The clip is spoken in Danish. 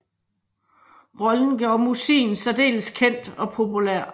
Rollen gjorde Mossin særdeles kendt og populær